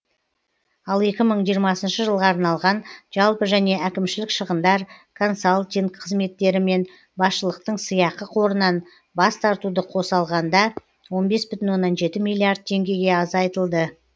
ал екі мың жиырмасыншы жылға арналған жалпы және әкімшілік шығындар консалтинг қызметтері мен басшылықтың сыйақы қорынан бас тартуды қоса алғанда он бес бүтін оннан жеті миллиард теңгеге азайтылды